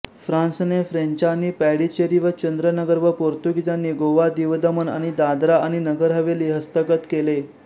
फ्रान्सनेफ्रेंचानी पॅडिचेरी व चंद्रनगर व पोर्तुगीजांनी गोवादीवदमण आणि दादरा आणि नगर हवेली हस्तगत केले